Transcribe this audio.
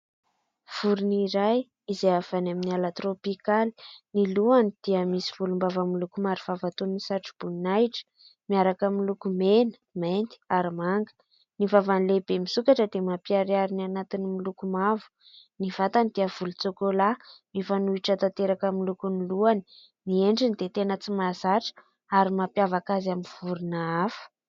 Vorona iray izay avy any amin'ny ala tropikaly, ny lohany dia misy volom-bava miloko maro vava toy ny satroboninahitra miaraka amin'ny loko mena, mainty ary manga. Ny vavany lehibe misokatra dia mampiharihary ny anatiny miloko mavo ; ny vatany dia volon-tsokola mifanohitra tanteraka amin'ny lokony lohany. Ny endriny dia tena tsy mahazatra ary mampiavaka azy amin'ny vorona hafa.